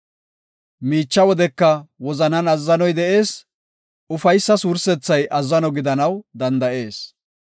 Miicha wodeka wozanan azzanoy de7ees; ufaysa wursethay azzano gidanaw danda7ees.